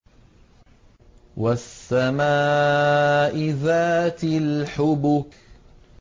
وَالسَّمَاءِ ذَاتِ الْحُبُكِ